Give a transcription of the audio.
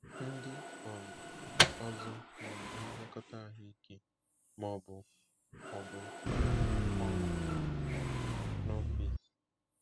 Ndị um ọzọ na-enye nlekọta ahụike ma ọ bụ ọ bụ na-arụ ọrụ n’ọfịs.